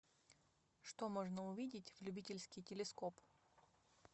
что можно увидеть в любительский телескоп